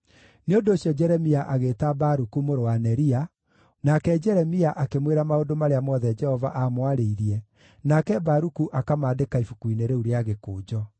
Nĩ ũndũ ũcio Jeremia agĩĩta Baruku mũrũ wa Neria, nake Jeremia akĩmwĩra maũndũ marĩa mothe Jehova aamwarĩirie, nake Baruku akamandĩka ibuku-inĩ rĩu rĩa gĩkũnjo.